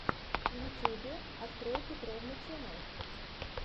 в ютубе открой петровна ченнэл